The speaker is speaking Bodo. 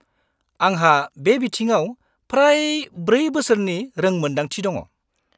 -आंहा बे बिथिङाव फ्राय 4 बोसोरनि रोंमोनदांथि दं।